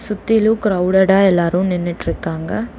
சுத்திலும் கிரௌடடா எல்லாரும் நின்னுட்டு இருக்காங்க.